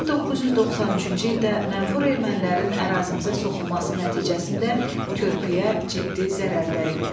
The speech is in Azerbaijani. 1993-cü ildə mənfur ermənilərin ərazimizə soxulması nəticəsində körpüyə ciddi zərər dəyib.